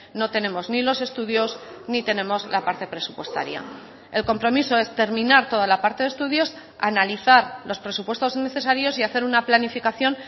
no tenemos ni los estudios ni tenemos la parte presupuestaria el compromiso es terminar toda la parte de estudios analizar los presupuestos necesarios y hacer una planificación